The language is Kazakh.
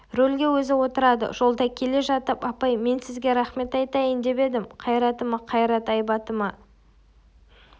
рөлге өзі отырады жолда келе жатып апай мен сізге рахмет айтайын деп едім қайратыма қайрат айбатыма